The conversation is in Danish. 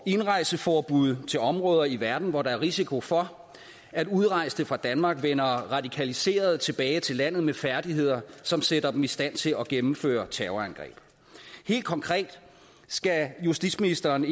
indrejseforbud til områder i verden hvor der er risiko for at udrejste fra danmark vender radikaliserede tilbage til landet med færdigheder som sætter dem i stand til at gennemføre terrorangreb helt konkret skal justitsministeren